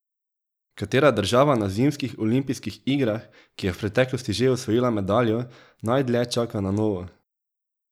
Katera država na zimskih olimpijskih igrah, ki je v preteklosti že osvojila medaljo, najdlje čaka na novo?